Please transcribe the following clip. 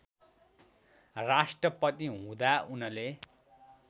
राष्ट्रपति हुँदा उनले